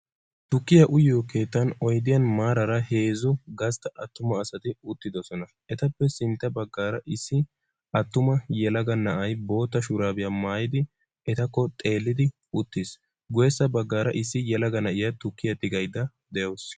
Tukkiya uyiyo keettan oydiyan marara heezzu gastta attuma asati uttidosona. etappe sintta baggaara issi attuma yelaga na'aay boottaa shurabiya maayidi etakko xeellidi uttiis. guyesa baggaara issi yelaga na'iyaa tukkiya tigayda deawusu.